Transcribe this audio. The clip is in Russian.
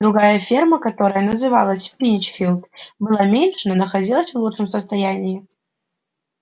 другая ферма которая называлась пинчфилд была меньше но находилась в лучшем состоянии